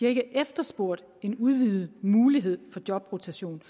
ikke efterspurgt en udvidet mulighed for jobrotation